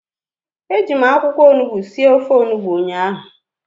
Eji m akwụkwọ onugbu sie ofe onugbu ụnyahụ